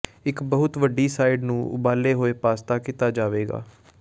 ਇੱਕ ਬਹੁਤ ਵੱਡੀ ਸਾਈਡ ਨੂੰ ਉਬਾਲੇ ਹੋਏ ਪਾਸਤਾ ਕੀਤਾ ਜਾਵੇਗਾ